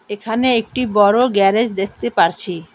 এখানে একটি বড়ো গ্যারেজ দেখতে পারছি।